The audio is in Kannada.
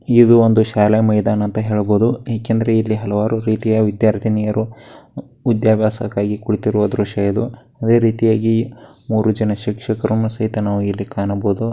ಇದು ಒಂದು ಶಾಲೆಯ ಮೈದಾನ ಅಂತ ಹೇಳಬಹುದು ಯಾಕೆಂದರೆ ಇಲ್ಲಿ ಹಲವಾರು ವಿದ್ಯಾರ್ಥಿನಿಯರು ವಿದ್ಯಾಭ್ಯಾಸಕ್ಕಾಗಿ ಕುಳಿತಿರುವ ದೃಶ್ಯ ಇದು. ಅದೇ ರೀತಿಯಾಗಿ ಮೂರೂ ಜನ ಶಿಕ್ಷಕರು ಸೇತನ ಇಲ್ಲಿ ಕಾಣಬಹುದು.